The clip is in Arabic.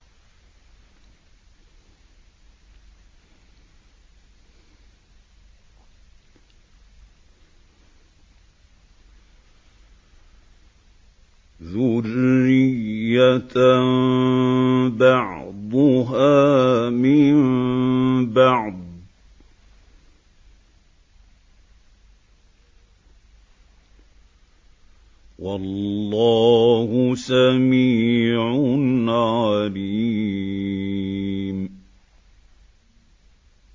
ذُرِّيَّةً بَعْضُهَا مِن بَعْضٍ ۗ وَاللَّهُ سَمِيعٌ عَلِيمٌ